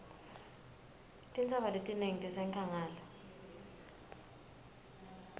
tintsaba letinengi tisenkhangala